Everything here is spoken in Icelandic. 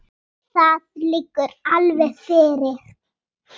Það liggur alveg fyrir.